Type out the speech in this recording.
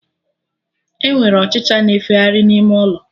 Enwere Ọchịcha na-efegharị n'ime ụlọ